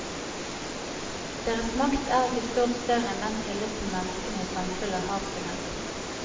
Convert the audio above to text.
Deres makt er ikke stort større enn den tilliten menneskene i samfunnet har til dem.